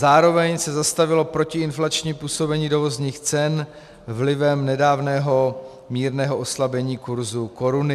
Zároveň se zastavilo protiinflační působení dovozních cen vlivem nedávného mírného oslabení kurzu koruny.